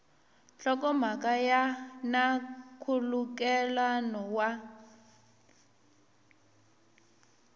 nhlokomhaka ya na nkhulukelano wa